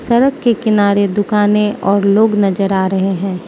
सड़क के किनारे दुकाने और लोग नजर आ रहे हैं।